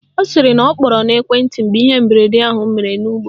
Ọ sịrị na ọ kpọrọ n'ekwenti mgbe ihe mberede ahụ mere n'ụgbọ